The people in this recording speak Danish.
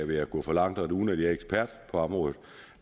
ville gå for langt og uden at være ekspert på området